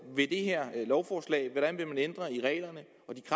ved det her lovforslag hvordan vil man ændre i reglerne